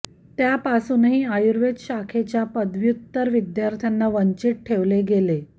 त्यापासूनही आयुर्वेद शाखेच्या पदव्युत्तर विद्यार्थ्यांना वंचित ठेवले गेले